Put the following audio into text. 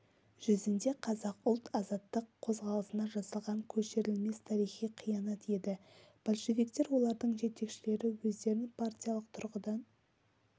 жүзінде қазақ ұлт-азаттық қозғалысына жасалған кешірілмес тарихи қиянат еді большевиктер олардың жетекшілері өздерін партиялық тұрғыдан